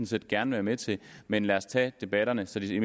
set gerne være med til men lad os tage debatterne så de